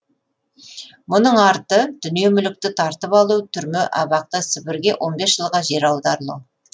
мұның арты дүние мүлікті тартып алу түрме абақты сібірге жылға жер аударылу